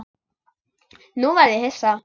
Nú verð ég hissa.